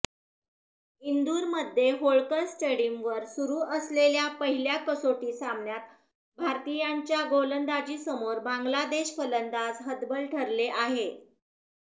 इंदुरमध्ये होळकर स्टेडियमवर सुरु असलेल्या पहिल्या कसोटी सामन्यात भारतीयांच्या गोलंदाजीसमोर बांगलादेश फलंदाज हतबल ठरले आहेत